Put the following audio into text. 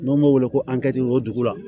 N'o m'o wele ko o dugu la